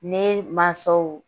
Ne mansaw